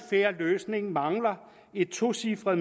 fair løsning mangler et tocifret